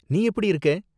நீ எப்படி இருக்க?